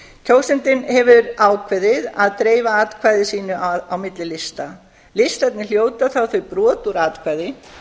kjósandinn hefur ákveðið að dreifa atkvæði sínu á milli lista listarnir hljóta þá þau brot úr atkvæði